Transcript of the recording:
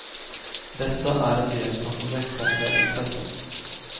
Detta är en del som får växa med intresset.